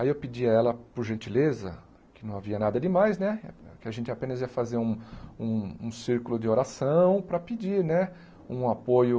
Aí eu pedi a ela, por gentileza, que não havia nada de mais né, que a gente apenas ia fazer um um um círculo de oração né para pedir um apoio.